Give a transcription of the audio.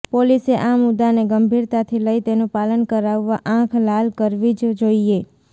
પોલીસે આ મુદ્દાને ગંભીરતાથી લઇ તેનું પાલન કરાવવા આંખ લાલ કરવી જ જોઇએ